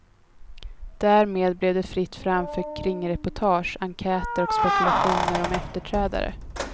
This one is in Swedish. Därmed blev det fritt fram för kringreportage, enkäter och spekulationer om efterträdare.